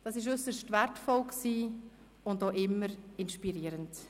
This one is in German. Dies war äusserst wertvoll und auch immer inspirierend.